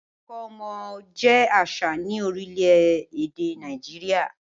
Ìkómọ jẹ àṣà ni orílẹ̀-èdè Nàìjíríà.